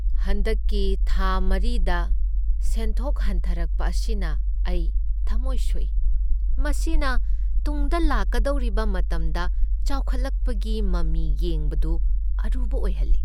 ꯍꯟꯗꯛꯀꯤ ꯊꯥ ꯃꯔꯤꯗ ꯁꯦꯟꯊꯣꯛ ꯍꯟꯊꯔꯛꯄ ꯑꯁꯤꯅ ꯑꯩ ꯊꯃꯣꯏ ꯁꯣꯛꯏ, ꯃꯁꯤꯅ ꯇꯨꯡꯗ ꯂꯥꯛꯀꯗꯧꯔꯤꯕ ꯃꯇꯝꯗ ꯆꯥꯎꯈꯠꯂꯛꯄꯒꯤ ꯃꯃꯤ ꯌꯦꯡꯕꯗꯨ ꯑꯔꯨꯕ ꯑꯣꯏꯍꯜꯂꯤ꯫